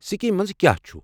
Scheme مَنٛز کیٚا چھُ؟